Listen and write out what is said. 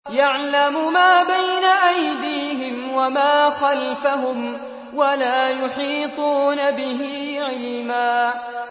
يَعْلَمُ مَا بَيْنَ أَيْدِيهِمْ وَمَا خَلْفَهُمْ وَلَا يُحِيطُونَ بِهِ عِلْمًا